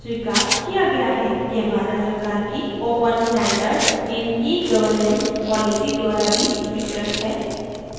यह भारत सरकार की open standards in egovernance policy द्वारा भी स्वीकृत है